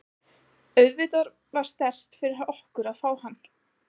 Auðvitað væri sterkt fyrir okkur að fá hann.